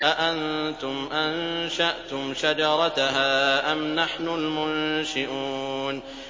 أَأَنتُمْ أَنشَأْتُمْ شَجَرَتَهَا أَمْ نَحْنُ الْمُنشِئُونَ